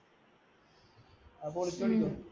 അപ്പ ഒളിച്ചോടിക്കോ